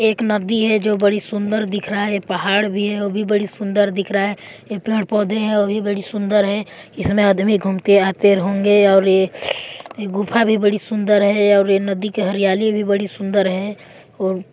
एक नदी है जो बड़ी सुंदर दिख रहा है एक पहाड़ भी है व भी बड़ी सुंदर दिख रहा है ये पेड़ पौधे हैं वो भी बड़ी सुंदर है इसमें आदमी घूमते आते होंगे और ये यह गुफा भी बड़ी सुंदर है और ये नदी के हरियाली भी बड़ी सुंदर हैऔर--